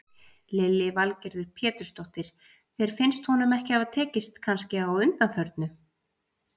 Lillý Valgerður Pétursdóttir: Þér finnst honum ekki hafa tekist kannski á undanförnu?